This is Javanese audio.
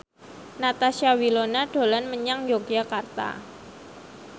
Natasha Wilona dolan menyang Yogyakarta